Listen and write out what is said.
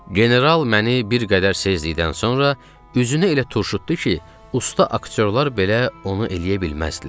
General məni bir qədər sezlikdən sonra üzünü elə turşutdu ki, usta aktyorlar belə onu eləyə bilməzdilər.